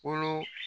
Kolo